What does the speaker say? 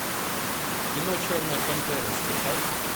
кино черная пантера скачай